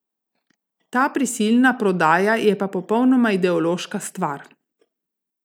Ta prisilna prodaja je pa popolnoma ideološka stvar.